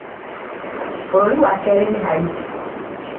bũrũri wa kerĩ ni Haiti